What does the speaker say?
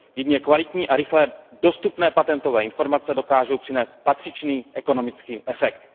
Jedině kvalitní a rychle dostupné patentové informace dokážou přinést patřičný ekonomický efekt.